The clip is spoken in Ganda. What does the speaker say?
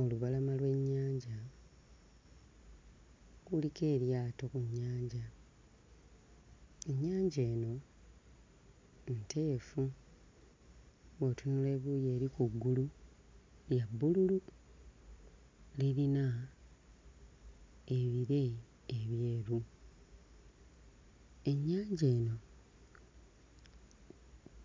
Olubalama lw'ennyanja, kuliko eryato ku nnyanja; ennyanja eno nteefu, bw'otunula ebuuyi eri ku ggulu lya bbululu, lirina ebire ebyeru. Ennyanja eno